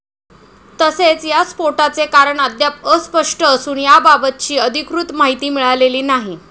तसेच या स्फोटाचे कारण अद्याप अस्पष्ट असून याबाबतची अधिकृत माहिती मिळालेली नाही.